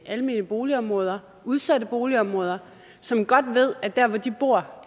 almene boligområder udsatte boligområder som godt ved at der hvor de bor